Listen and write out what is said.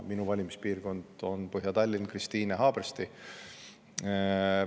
Minu valimispiirkond on Põhja-Tallinn, Kristiine ja Haabersti.